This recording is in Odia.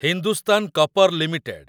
Hindustan copper limited